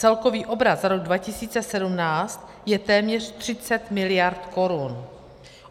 Celkový obrat za rok 2017 je téměř 30 miliard korun.